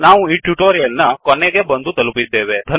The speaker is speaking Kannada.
ನಾವು ಈ ಟ್ಯುಟೊರಿಯಲ್ ನ ಕೊನೆಗೆ ಬಂದು ತಲುಪಿದ್ದೇವೆ